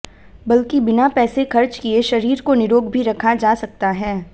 बल्कि बिना पैसे खर्च किए शरीर को निरोग भी रखा जा सकता है